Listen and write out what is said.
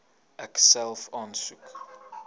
ek self aansoek